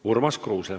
Urmas Kruuse.